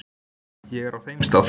Ég er á þeim stað.